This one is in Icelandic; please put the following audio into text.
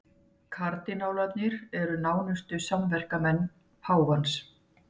Kardinálarnir eru nánustu samverkamenn páfans